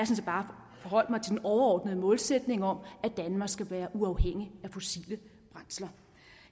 set bare forholdt mig til den overordnede målsætning om at danmark skal være uafhængig af fossile brændsler